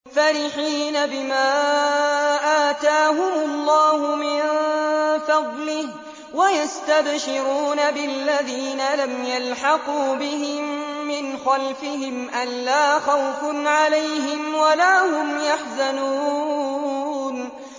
فَرِحِينَ بِمَا آتَاهُمُ اللَّهُ مِن فَضْلِهِ وَيَسْتَبْشِرُونَ بِالَّذِينَ لَمْ يَلْحَقُوا بِهِم مِّنْ خَلْفِهِمْ أَلَّا خَوْفٌ عَلَيْهِمْ وَلَا هُمْ يَحْزَنُونَ